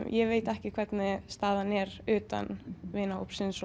ég veit ekki hvernig staðan er utan vinahópsins